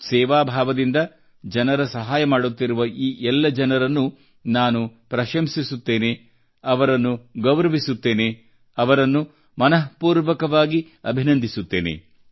ಸೇವಾ ಭಾವದಿಂದ ಜನರ ಸಹಾಯ ಮಾಡುತ್ತಿರುವ ಈ ಎಲ್ಲ ಜನರನ್ನು ನಾನು ಪ್ರಶಂಸಿಸುತ್ತೇನೆ ಅವರನ್ನು ಗೌರವಿಸುತ್ತೇನೆ ಅವರನ್ನು ಮನಃಪೂರ್ವಕವಾಗಿ ಅಭಿನಂದಿಸುತ್ತೇನೆ